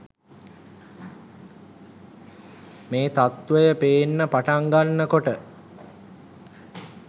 මේ තත්වය පේන්න පටන් ගන්න කොට